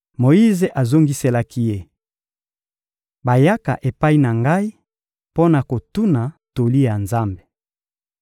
Moyize azongiselaki ye: — Bayaka epai na ngai mpo na kotuna toli ya Nzambe.